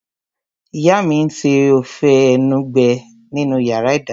Ìyá mi n ṣe ófé enugbe nínu yàrá -ìdáná